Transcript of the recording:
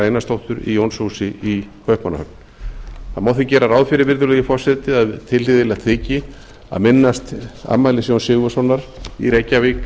einarsdóttur í jónshúsi í kaupmannahöfn það má því gera ráð fyrir að tilhlýðilegt þyki að minnast afmælis jóns sigurðssonar í reykjavík